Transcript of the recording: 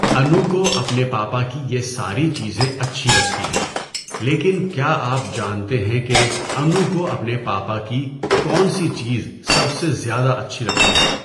انو کو اپنے پاپا کی یہ ساری چیزیں اچھی لگتی ہیں لیکن کیا آپ جانتے ہیں کہ انو کو اپنے پاپا کی کون سی چیز سب سے زیادہ اچھی لگتی ہے؟